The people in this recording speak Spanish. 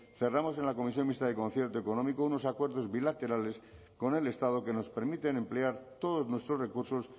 cerremos en la comisión mixta de concierto económico unos acuerdos bilaterales con el estado que nos permiten emplear todos nuestros recursos